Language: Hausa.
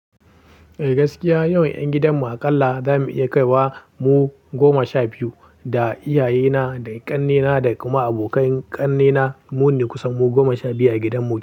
Eh gaskiya, yawan ƴan gidanmu aƙalla za mu iya kaiwa mu goma sha biyu. Da iyayena, da ƙannena da kuma abokan ƙannena mu ne kusan goma sha biyu a gidan mu yanzu.